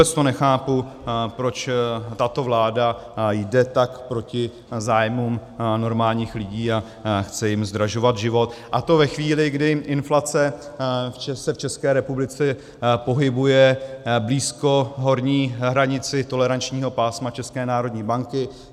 Vůbec to nechápu, proč tato vláda jde tak proti zájmům normálních lidí a chce jim zdražovat život, a to ve chvíli, kdy inflace se v České republice pohybuje blízko horní hranice tolerančního pásma České národní banky.